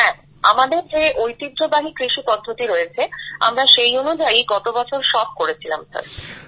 হ্যাঁ আমাদের যে ঐতিহ্যবাহী কৃষিপদ্ধতি রয়েছে আমরা সেই অনুযায়ীই গত বছর সব করেছিলাম স্যার